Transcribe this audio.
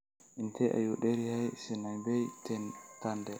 Intee ayuu dheer yahay Sanaipei Tande?